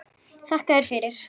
Þakka þér fyrir.